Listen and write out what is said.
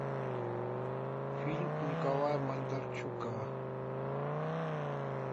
фильм николая бондарчука